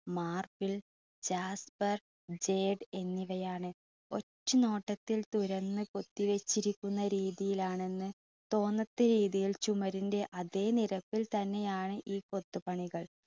marble jasper എന്നിവയാണ് ഒറ്റനോട്ടത്തിൽ തുറന്ന് കൊത്തി വച്ചിരിക്കുന്ന രീതിയിലാണെന്ന് തോന്നത്തക്ക രീതിയിൽ ചുമരിൻ്റെ അതെ നിരപ്പിൽ തന്നെയാണ് ഈ കൊത്തു പണികൾ